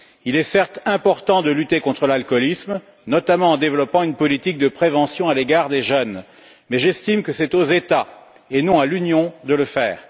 Il est certes important de lutter contre l'alcoolisme, notamment en développant une politique de prévention à l'égard des jeunes, mais j'estime qu'il appartient aux États, et non à l'Union, de le faire.